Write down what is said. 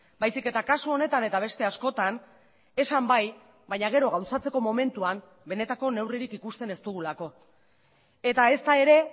baizik eta kasu honetan eta beste askotan esan bai baina gero gauzatzeko momentuan benetako neurririk ikusten ez dugulako eta ezta ere